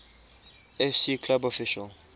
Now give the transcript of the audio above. fc club official